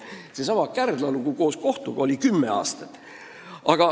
Seesama Kärdla lugu kestis koos kohtuga kümme aastat.